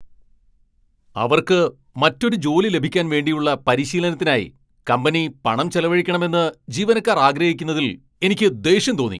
അവർക്ക് മറ്റൊരു ജോലി ലഭിക്കാൻ വേണ്ടിയുള്ള പരിശീലനത്തിനായി കമ്പനി പണം ചെലവഴിക്കണമെന്ന് ജീവനക്കാർ ആഗ്രഹിക്കുന്നതിൽ എനിക്ക് ദേഷ്യം തോന്നി.